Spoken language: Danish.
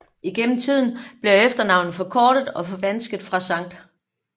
Igennem tiden bliver efternavnet forkortet og forvansket fra St